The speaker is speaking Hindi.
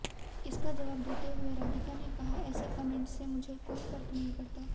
इसका जवाब देते हुए राधिका ने कहा ऐसे कमेंट्स से मुझे कोई फर्क नहीं पड़ता